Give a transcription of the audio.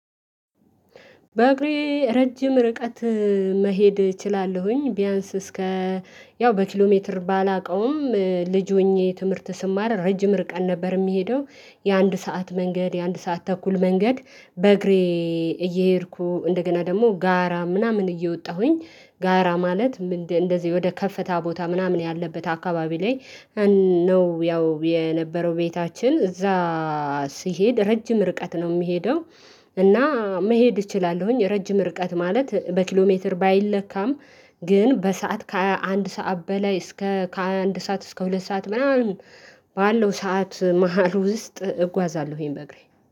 በእግሬ ረጅም ርቀት መሄድ እችላለሁኝ ቢያንስ እስከ ያው በኪሎሜትር ባላውቀውም ልጅ ሆኜ ትምህርት ስማር ረጅም ርቀን ነበር የሚሄደው የአንድ ሰዓት መንገድ የአንድ ሰዓት ተኩል መንገድ በእግሬ እየሄድኩ እንደገና ደግሞ ጋራ ምናምን እየወጣሁኝ ጋራ ማለት እንደዚህ ወደ ከፍታ ቦታ ምናምን ያለበት አካባቢ ላይ። ነው ያው የነበረው ቤታችን እዛ ሲሄድ ረጅም ርቀት ነው የምሄደው። እና መሄድ እችላለሁኝ ረጅም ርቀት ማለት በኪሎ ሜትር ባይለካም። ግን በሰአት ከአንድ ሰዓት በላይ እስከ ከአንድ ሰዓት እስከ ሁለት ሰዓት ምናምን ባለው ሰዓት መሃል ውስጥ እጓዛለሁ። ይሄን በእግሬ